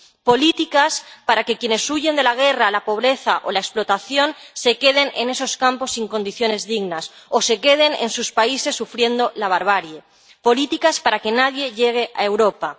políticas para que quienes huyen de la guerra, la pobreza o la explotación, se queden en esos campos sin condiciones dignas o se queden en sus países sufriendo la barbarie. Políticas para que nadie llegue a Europa.